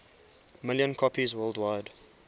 million copies worldwide